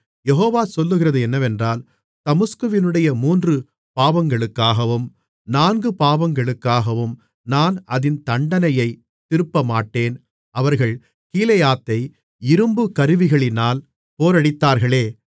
யெகோவா சொல்லுகிறது என்னவென்றால் தமஸ்குவினுடைய மூன்று பாவங்களுக்காகவும் நான்கு பாவங்களுக்காகவும் நான் அதின் தண்டனையைத் திருப்பமாட்டேன் அவர்கள் கீலேயாத்தை இரும்புக் கருவிகளினால் போரடித்தார்களே